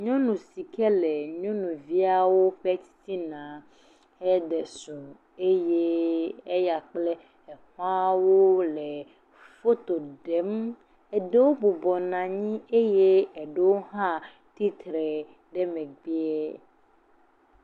Nyɔu si ke le nyɔnuaviawo ƒe titina heɖe srɔ̃ eye eya kple exɔawo le foto ɖem. Eɖewo bɔbɔnɔ anyi eye eɖewo hã tsitre ɖe megbea.